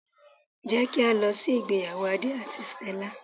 Jé kí á lọ sí ìgbéyàwó Adé àti Stella